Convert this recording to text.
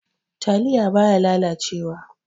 Taliya baya lalace wa.